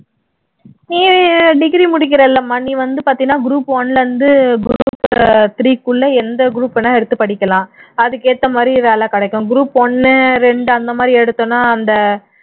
degree முடிக்கிற இல்லம்மா நீ வந்து பாத்தீன்னா group one ல இருந்து group three க்குள்ள எந்த group வேணா எடுத்து படிக்கலாம் அதுக்கேத்த மாதிரி வேலை கிடைக்கும் group ஒண்ணு ரெண்டு அந்த மாதிரி எடுதோம்னா அந்த